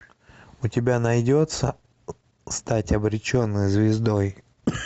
у тебя найдется стать обреченной звездой